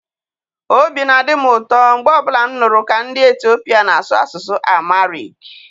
Obi na-adị m ụtọ mgbe ọ bụla m nụrụ ka ndị Etiopia na-asụ asụsụ Amharic.